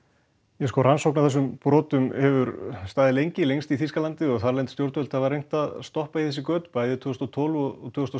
já rannsókn á þessum brotum hefur staðið lengi lengst í Þýskalandi og þarlend stjórnvöld reyndu að stoppa í götin bæði tvö þúsund og tólf og tvö þúsund